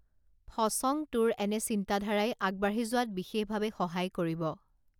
ফচং তোৰ এনে চিন্তাধাৰাই আগবাঢ়ি যোৱাত বিশেষ ভাৱে সহায় কৰিব